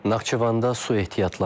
Naxçıvanda su ehtiyatları azalır.